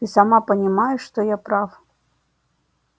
ты сама понимаешь что я прав